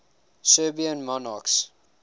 serbian monarchs